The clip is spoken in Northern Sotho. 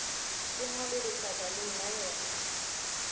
e ngwalwe letlakaleng la yona